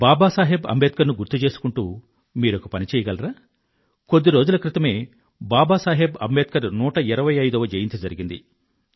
బాబా సాహెబ్ అంబేడ్కర్ ను గుర్తుచేసుకుంటూ మీరొక పని చెయ్యగలరా కొద్ది రోజుల క్రితమే బాబా సాహెబ్ అంబేడ్కర్ 125వ జయంతి జరిగింది